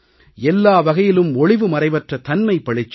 எல்லா வகையிலும் ஒளிவுமறைவற்ற தன்மை பளிச்சிடும்